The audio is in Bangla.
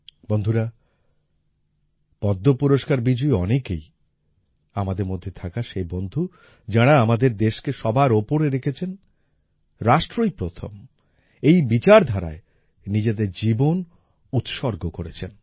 বন্ধুরা পদ্ম পুরস্কার বিজয়ী অনেকেই আমাদের মধ্যে থাকা সেই বন্ধু যাঁরা আমাদের দেশকে সবার উপরে রেখেছেন রাষ্ট্রই প্রথম এই বিচারধারায় নিজেদের জীবন উৎসর্গ করেছেন